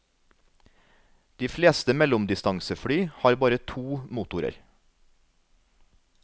De fleste mellomdistansefly har bare to motorer.